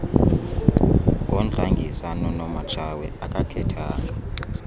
ngodlangisa nonomatshawe akakhethanga